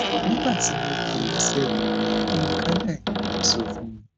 nígbà tí mo bi oníṣègùn mi ohun kan náà ni wọn sọ fún mi